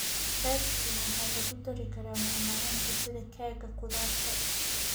Fersken waxaa lagu dari karaa macmacaanka sida keega khudaarta.